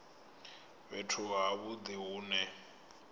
fhethu ha vhudi hu ne